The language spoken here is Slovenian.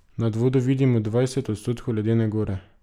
Nad vodo vidimo dvajset odstotkov ledene gore.